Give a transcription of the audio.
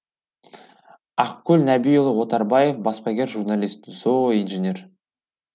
ақкөл нәбиұлы отарбаев баспагер журналист зооинженер